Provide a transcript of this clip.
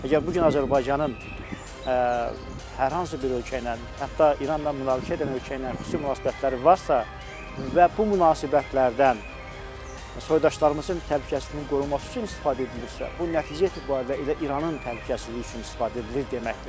Əgər bu gün Azərbaycanın hər hansı bir ölkə ilə, hətta İranla münaqişə edən ölkə ilə xüsusi münasibətləri varsa və bu münasibətlərdən soydaşlarımızın təhlükəsizliyinin qorunması üçün istifadə edilirsə, bu nəticə etibarilə elə İranın təhlükəsizliyi üçün istifadə edilir deməkdir.